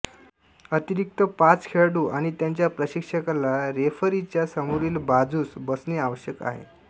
अतिरिक्त पाचखेळाडूआणि त्यांच्या प्रशिक्षकाला रेफरीच्या समोरील बाजुसबसणे आवश्यक आहे